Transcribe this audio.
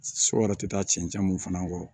Sɔ yɛrɛ tɛ taa cɛncɛn mun fana kɔ